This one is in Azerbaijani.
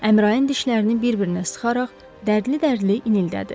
Əmraan dişlərini bir-birinə sıxaraq dərdli-dərdli inildədi.